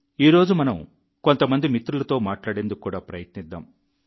ఈ రోజు మనం కొంతమంది మిత్రులతో మాట్లాడేందుకు కూడా ప్రయత్నిద్దాం